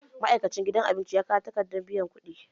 Ma'aikacin gidan abinci ya kawo takardar biyan kuɗi